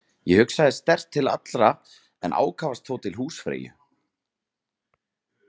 Ég hugsaði sterkt til þeirra allra en ákafast þó til húsfreyju.